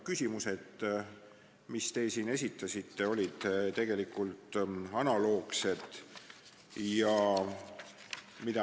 Küsimused, mis te siin esitasite, olid tegelikult analoogsed komisjonis esitatutega.